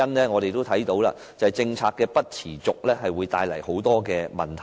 我們看到，政策未能持續會帶來很多問題。